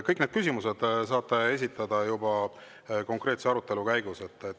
Kõik need küsimused saate esitada juba konkreetse arutelu käigus.